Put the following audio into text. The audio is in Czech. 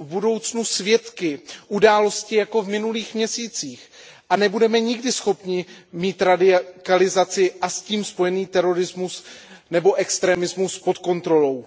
budoucnu svědky událostí jako v minulých měsících a nebudeme nikdy schopni mít radikalizaci a s tím spojený terorismus nebo extremismus pod kontrolou.